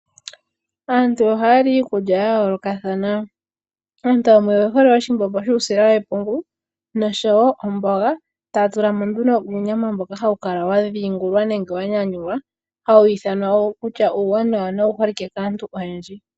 Aantu ohaali iikulya ya yoolokathana. Aantu yamwe oye hole oshimbombo shuusila wepungu noshowo omboga, taa tula mo nduno uunyama mboka hawu kala wa dhiingula nenge wa nyanyulwa hawu ithanwa kutya owo uuwanawa nowu holike kaantu oyendji.